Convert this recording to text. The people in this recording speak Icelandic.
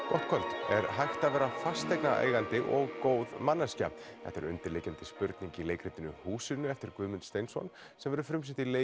gott kvöld er hægt að vera fasteignaeigandi og góð manneskja þetta er undirliggjandi spurning í leikritinu húsinu eftir Guðmund Steinsson sem verður frumsýnt í